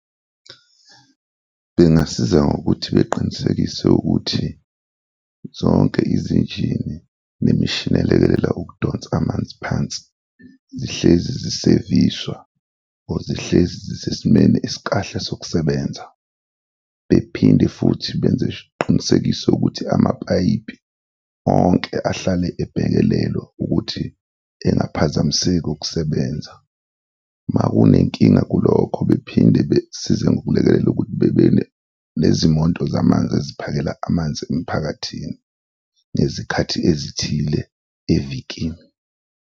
Bengasiza ngokuthi beqinisekise ukuthi zonke izinjini nemishini elekelela ukudonsa amanzi phansi zihlezi ziseviswa or zihlezi zisesimeni esikahle sokusebenza bephinde futhi benze isiqinisekiso ukuthi amapayipi onke ahlale ebhekelelwa ukuthi engaphazamiseki ukusebenza, makunenkinga kulokho bephinde besize ngokulekelela ukuthi bebenezimoto zamanzi eziphakela amanzi emphakathini ngezikhathi ezithile evikini.